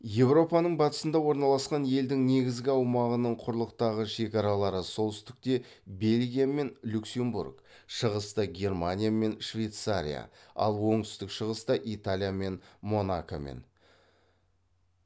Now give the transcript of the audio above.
еуропаның батысында орналасқан елдің негізгі аумағының құрылықтағы шекаралары солтүстікте бельгия мен люксембург шығыста германия мен швейцария ал оңтүстік шығыста италия және монакомен